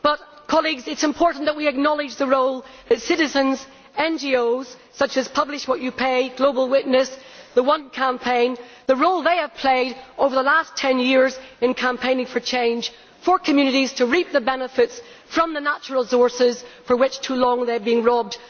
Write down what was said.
But it is important that we acknowledge the role of citizens and NGOs, such as Publish What you Pay, Global Witness, and the One Campaign, the role they have played over the last ten years in campaigning for change, for communities to reap the benefits from the natural resources of which for too long they have been robbed.